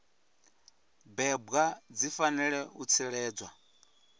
bebwa dzi fanela u tsireledzwa